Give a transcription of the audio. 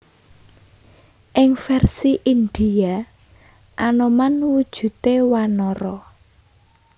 Ing vèrsi Indhia Anoman wujudé wanara